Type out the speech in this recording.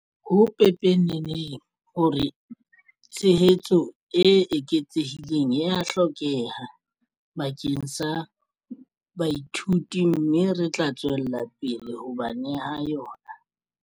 Ho pepeneneng hore tshehetso e eketsehileng ea hlokeha bakeng sa baithuti mme re tla tswella pele ho ba neha yona.